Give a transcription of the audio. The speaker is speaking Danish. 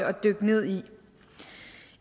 at dykke ned i